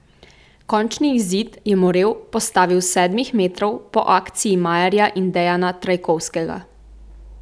Končni izid je Morel postavil s sedmih metrov po akciji Majerja in Dejana Trajkovskega.